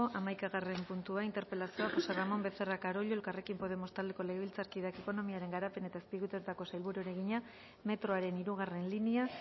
hamaikagarren puntua interpelazioa josé ramón becerra carollo elkarrekin podemos taldeko legebiltzarkideak ekonomiaren garapen eta azpiegituretako sailburuari egina metroaren hirugarrena linea